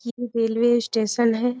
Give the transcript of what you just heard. ये railway station है।